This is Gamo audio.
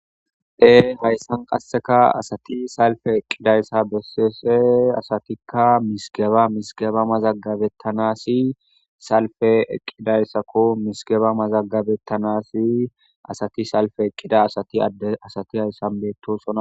dhee hayssan qasseka asati salfe eqqidayssa besese asatikka misigeba misigeba mazagabettanasi salfe eqqidayssako misigeba mazagabettanasi asati salfe eqqida asati adde asati hayssan beetto sonna